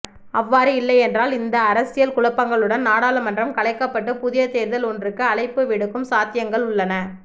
அவ்வாறு இல்லையென்றால் இந்த அரசியல் குழப்பங்களுடன் நாடாளுமன்றம் கலைக்கப்பட்டு புதியதேர்தல் ஒன்றுக்கு அழைப்புவிடுக்கும் சாத்தியங்கள்உள்ளன